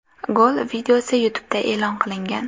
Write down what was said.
Gol videosi YouTube’da e’lon qilingan .